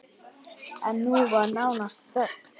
En nú var nánast þögn!